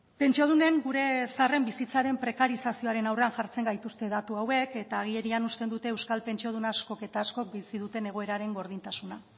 pentsiodunen gure zaharren bizitzaren prekarizazioaren aurrean jartzen gaituzte datu hauek eta agerian uzten dute euskal pentsiodun askok eta askok bizi duten egoeraren gordintasuna